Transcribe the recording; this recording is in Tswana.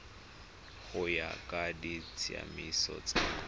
go ya ka ditsamaiso tsa